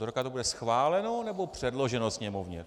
Do roka to bude schváleno, nebo předloženo Sněmovně?